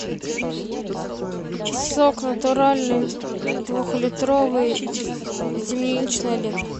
сок натуральный двухлитровый земляничное лето